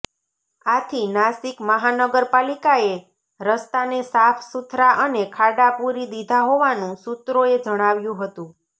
આથી નાશિક મહાનગર પાલિકાએ રસ્તાને સાફ સુથરા અને ખાડા પૂરી દીધા હોવાનું સૂત્રોએ જણાવ્યું હતું